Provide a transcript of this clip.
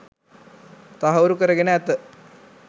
තහවුරු කරගෙන ඇත